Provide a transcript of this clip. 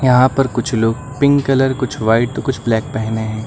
यहां पर कुछ लोग पिंक कलर कुछ व्हाइट कुछ ब्लैक पहने हैं।